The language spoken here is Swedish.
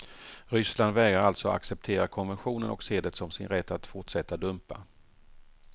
Ryssland vägrar alltså acceptera konventionen och ser det som sin rätt att fortsätta dumpa.